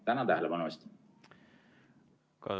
Tänan tähelepanu eest!